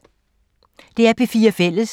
DR P4 Fælles